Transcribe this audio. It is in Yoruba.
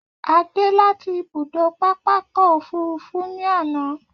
A dé láti ibùdó pápákọ̀ òfúrufú ní àná.